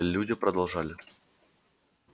люди продолжали